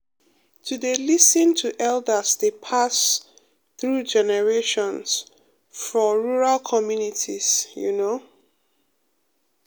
to dey lis ten to elders dey pass um through generations for rural communities you know pause um